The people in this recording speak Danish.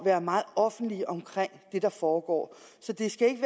være meget offentlige om det der foregår så det skal ikke